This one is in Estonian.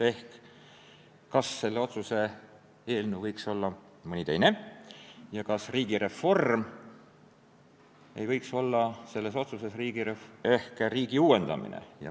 See oli see, kas selle otsuse eelnõu asemel võiks olla mõni teine ja kas riigireform ei võiks selles otsuses tähendada riigi uuendamist.